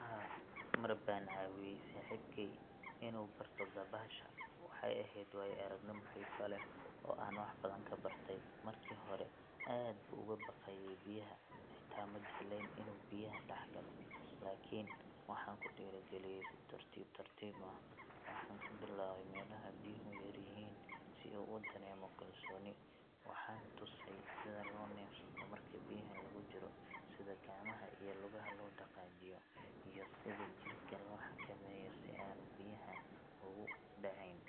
Haa, mar baan caawiyay saaxiibkey inuu barto dabaasha. Waxay ahayd waayo-aragnimo xiiso leh oo aan wax badan ka bartay. Markii hore aad buu uga baqayay biyaha, xitaa ma jeclayn inuu biyaha dhex galo. Laakiin waxaan ku dhiirrigeliyay si tartiib tartiib ah, waxaan ka bilaabay meelaha biyuhu yar yihiin, si uu u dareemo kalsooni. Waxaan tusay sida loo neefsado marka biyaha lagu jiro, sida gacmaha iyo lugaha loo dhaqaajiyo, iyo sida jirka loo xakameeyo si aanu biyaha ugu dhacayn.